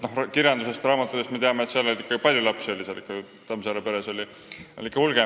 Kirjandusest, raamatutest, me teame, et seal oli palju lapsi – Tammsaare kujutatud peres oli neid ikkagi hulgi.